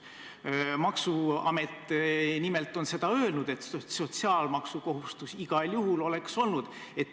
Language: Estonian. Maksuamet nimelt on öelnud, et sotsiaalmaksukohustus igal juhul oleks olnud.